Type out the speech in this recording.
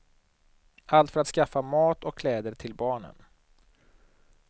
Allt för att skaffa mat och kläder till barnen.